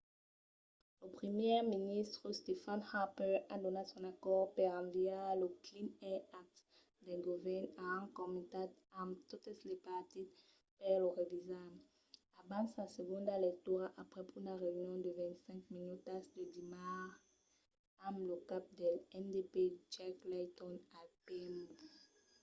lo primièr ministre stephen harper a donat son acòrd per enviar lo 'clean air act' del govèrn a un comitat amb totes los partits per lo revisar abans sa segonda lectura aprèp una reünion de 25 minutas de dimars amb lo cap del ndp jack layton al pmo